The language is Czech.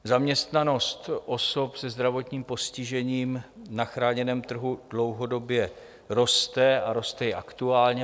Zaměstnanost osob se zdravotním postižením na chráněném trhu dlouhodobě roste a roste i aktuálně.